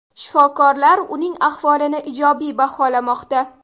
Shifokorlar uning ahvolini ijobiy baholamoqda.